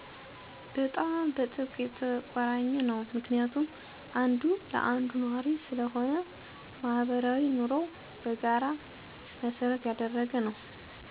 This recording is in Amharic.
በጣም በጥብቅ የተቆራኘ ነው ምክንያቱም አንዱ ለአንዱ ኗሪ ስለሆነ፣ ማህበራዊ ኑሮው በጋራ መሰረት ያደረገ ነው።